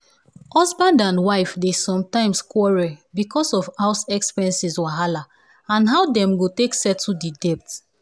husband and wife dey sometimes quarrel because of house expenses wahala and how dem go take settle the debt.